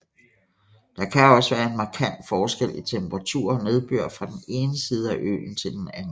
Der kan også være en markant forskel i temperatur og nedbør fra den ene side af øen til den anden